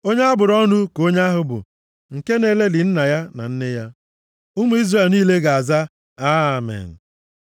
“Onye a bụrụ ọnụ ka onye ahụ bụ, nke na-elelị nna ya na nne ya.” Ụmụ Izrel niile ga-aza, “Amen.”